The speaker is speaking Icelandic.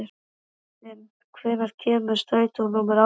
Kristin, hvenær kemur strætó númer átján?